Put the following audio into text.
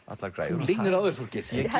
allar græjur þú leynir á þér Þorgeir ég